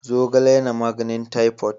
Zogale yana magnin typhoid.